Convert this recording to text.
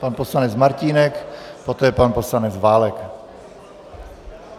Pan poslanec Martínek, poté pan poslanec Válek.